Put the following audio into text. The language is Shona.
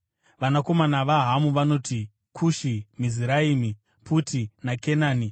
Vanakomana vaHamu vanoti: Kushi, Miziraimi, Puti naKenani.